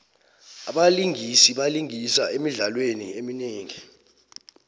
abalingisi balingisa emidlalweni eminingi